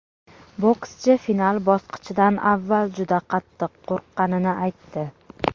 Bokschi final bosqichidan avval juda qattiq qo‘rqqanini aytdi.